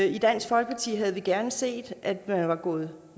i dansk folkeparti havde vi gerne set at man var gået